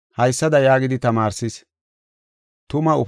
haysada yaagidi tamaarsis: